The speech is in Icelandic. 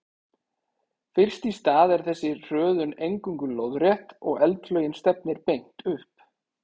Fyrst í stað er þessi hröðun eingöngu lóðrétt og eldflaugin stefnir beint upp.